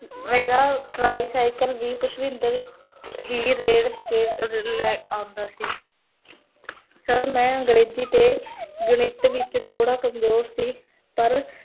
ਮੇਰਾ tricycle ਹੀ ਪੁਸ਼ਪਿੰਦਰ ਰੇੜ੍ਹ ਕੇ, ਲੈ ਆਓਂਦਾ ਸੀ sir ਮੈਂ ਅੰਗ੍ਰੇਜੀ ਤੇ ਗਣਿਤ ਵਿਚ, ਥੋੜਾ ਕਮਜੋਰ ਸੀ ਪਰ